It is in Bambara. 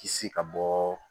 Kisi ka bɔ